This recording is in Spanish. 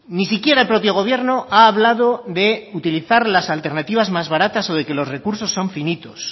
ni siquiera el propio gobierno ha hablado de utilizar las alternativas más baratas o de que los recursos son finitos